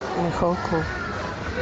михалков